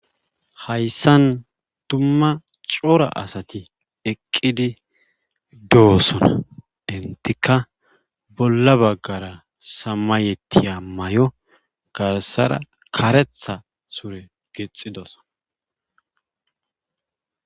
Hayssan dumma coar asati eqqidi doosona enttika bolla baggara samayettiya mayo garssara karetha sure gixxidoso.